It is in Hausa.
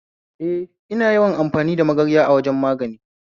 Eh, ina yawan amfani da magarya a wajan magani